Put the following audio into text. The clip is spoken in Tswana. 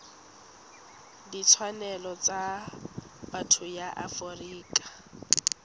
ditshwanelo tsa botho ya afrika